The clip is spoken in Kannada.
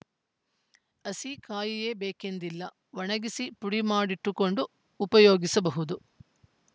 ಹಸಿ ಕಾಯಿಯೇ ಬೇಕೆಂದಿಲ್ಲ ಒಣಗಿಸಿ ಪುಡಿ ಮಾಡಿಟ್ಟುಕೊಂಡೂ ಉಪಯೋಗಿಸಬಹುದು